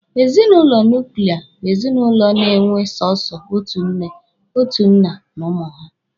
Ezinụlọ nuklia bụ ezinụlọ a na-enwe sọsọ otu nne, otu nna na ụmụ ha.